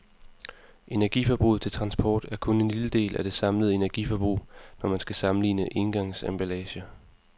Energiforbruget til transport er kun en lille del af det samlede energiforbrug, når man skal sammenligne engangsemballager.